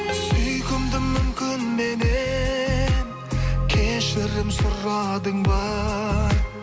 сүйкімдім мүмкін меннен кешірім сұрадың ба